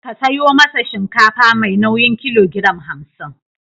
Ka sayo masa shinkafa mai nauyin kilogoram hamsin.